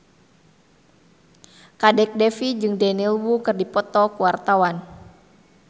Kadek Devi jeung Daniel Wu keur dipoto ku wartawan